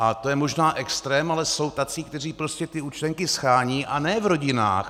A to je možná extrém, ale jsou tací, kteří prostě ty účtenky shánějí, a ne v rodinách.